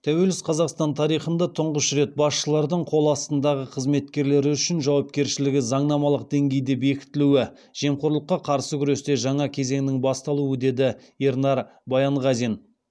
тәуелсіз қазақстан тарихында тұңғыш рет басшылардың қол астындағы қызметкерлері үшін жауапкершілігі заңнамалық деңгейде бекітілуі жемқорлыққа қарсы күресте жаңа кезеңнің басталуы деді ернар баянғазин